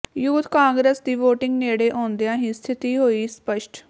youth Congress ਦੀ voting ਨੇੜੇ ਆਉਂਦਿਆਂ ਹੀ ਸਥਿਤੀ ਹੋਈ ਸਪੱਸ਼ਟ